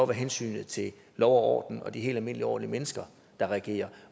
hensynet til lov og orden og de helt almindelige ordentlige mennesker der regerer